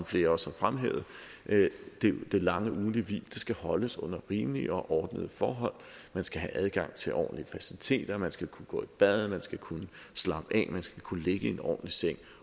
flere også har fremhævet det lange ugentlige hvil skal holdes under rimelige og ordnede forhold man skal have adgang til ordentlige faciliteter man skal kunne gå i bad man skal kunne slappe af man skal kunne ligge i en ordentlig seng